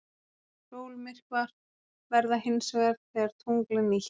Sólmyrkvar verða hins vegar þegar tungl er nýtt.